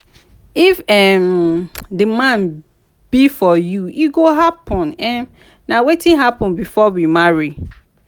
if um the man be for you e go happen. um na wetin happen before we marry.